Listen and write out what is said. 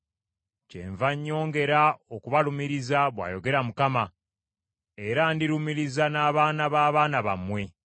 “Kyenva nnyongera okubalumiriza,” bw’ayogera Mukama , “Era ndirumiriza n’abaana b’abaana bammwe.